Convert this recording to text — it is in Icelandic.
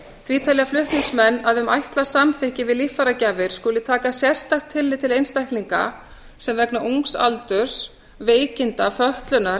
því telja flutningsmenn að um ætlað samþykki við líffæragjafir skuli taka sérstakt tillit til einstaklinga sem vegna ungs aldurs veikinda fötlunar